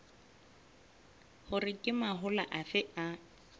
hore ke mahola afe a